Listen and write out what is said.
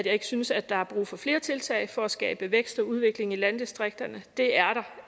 ikke synes at der er brug for flere tiltag for at skabe vækst og udvikling i landdistrikterne det er